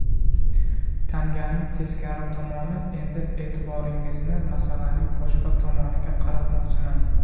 Tanganing teskari tomoni Endi e’tiboringizni masalaning boshqa tomoniga qaratmoqchiman.